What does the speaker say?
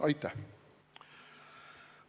Aitäh!